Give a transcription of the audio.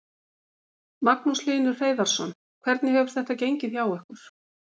Magnús Hlynur Hreiðarsson: Hvernig hefur þetta gengið hjá ykkur?